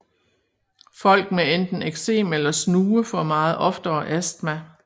Folk med enten eksem eller snue får meget oftere astma